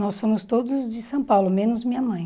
Nós somos todos de São Paulo, menos minha mãe.